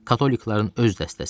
Katoliklərin öz dəstəsi.